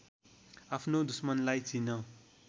आफ्नो दुश्मनलाई चिन